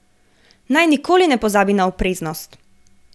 Naj nikoli ne pozabi na opreznost.